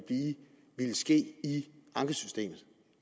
ske i ankesystemet